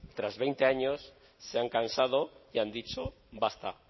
tras veinte años se han cansado y han dicho basta